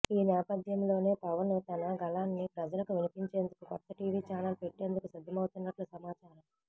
ఈ నేపథ్యంలోనే పవన్ తన గళాన్ని ప్రజలకు వినిపించేందుకు కొత్త టీవీ ఛానెల్ పెట్టేందుకు సిద్ధమవుతున్నట్లు సమాచారం